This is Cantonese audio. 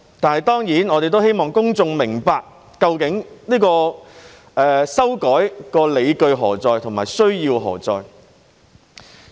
但是，當然，我們希望公眾明白究竟修改的理據和需要何在。